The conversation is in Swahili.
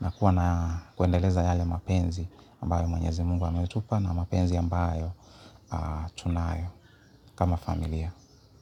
na kuwa na kuendeleza yale mapenzi ambayo mwenyezi mungu ametupa na mapenzi ambayo tunayo kama familia.